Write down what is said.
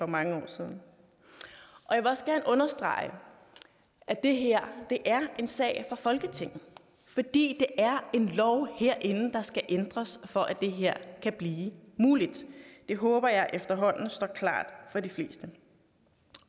mange år siden jeg vil også godt understrege at det her er en sag for folketinget fordi det er en lov herinde der skal ændres for at det her kan blive muligt det håber jeg efterhånden står klart for de fleste